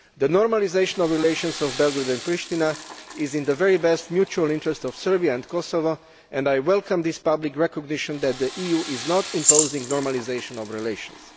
The normalisation of relations between Belgrade and Pristina is in the very best mutual interest of Serbia and Kosovo, and I welcome this public recognition that the EU is not imposing the normalisation of relations.